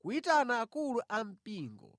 kuyitana akulu ampingo.